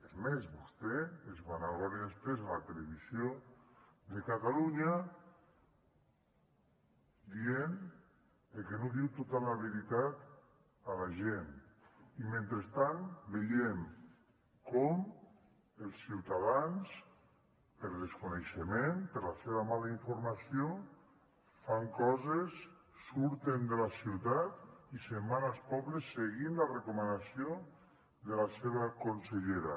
és més vostè se’n vanagloria després a la televisió de catalunya i diu que no diu tota la veritat a la gent i mentrestant veiem com els ciutadans per desconeixement per la seva mala informació fan coses surten de la ciutat i se’n van als pobles seguint la recomanació de la seva consellera